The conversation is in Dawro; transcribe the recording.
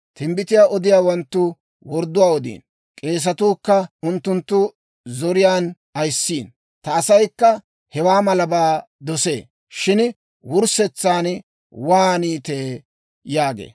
Timbbitiyaa odiyaawanttu wordduwaa odiino; k'eesatuu kka unttunttu zoriyaan ayissiino. Ta asaykka hewaa malabaa dosee! Shin wurssetsan waaniitee?» yaagee.